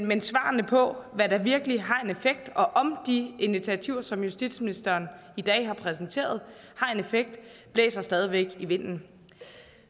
men svarene på hvad der virkelig har en effekt og om de initiativer som justitsministeren i dag har præsenteret har en effekt blæser stadig væk i vinden